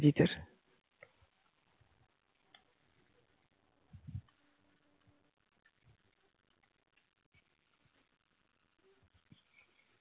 কি চাস